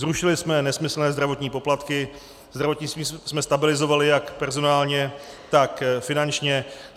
Zrušili jsme nesmyslné zdravotní poplatky, zdravotnictví jsme stabilizovali jak personálně, tak finančně.